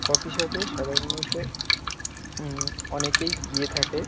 Coffee shop -এ সাধারনত হুম অনেকেই গিয়ে থাকে।